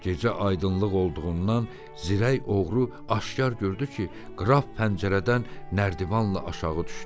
Gecə aydınlıq olduğundan zirək oğru aşkar gördü ki, qraf pəncərədən nərdivanla aşağı düşdü.